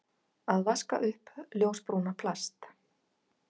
Að vaska upp ljósbrúna plast